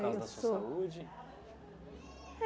É por causa da sua saúde?